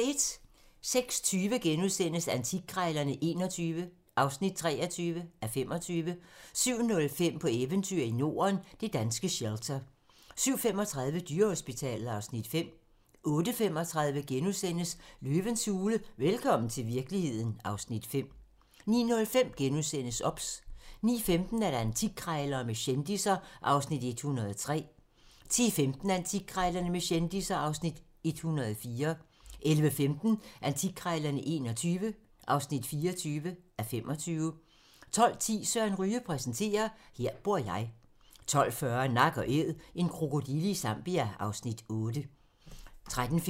06:20: Antikkrejlerne XXI (23:25)* 07:05: På eventyr i Norden - det danske shelter 07:35: Dyrehospitalet (Afs. 5) 08:35: Løvens hule - velkommen til virkeligheden (Afs. 5)* 09:05: OBS * 09:15: Antikkrejlerne med kendisser (Afs. 103) 10:15: Antikkrejlerne med kendisser (Afs. 104) 11:15: Antikkrejlerne XXI (24:25) 12:10: Søren Ryge præsenterer - her bor jeg 12:40: Nak & Æd - en krokodille i Zambia (Afs. 8)